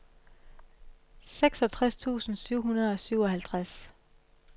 seksogtres tusind syv hundrede og syvoghalvtreds